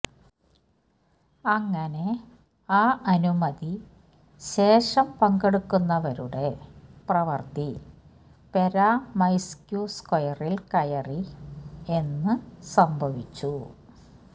അങ്ങനെ ആ അനുമതി ശേഷം പങ്കെടുക്കുന്നവരുടെ പ്രവൃത്തി പെര്വൊമൈസ്ക്യ് സ്ക്വയറിൽ കയറി എന്ന് സംഭവിച്ചു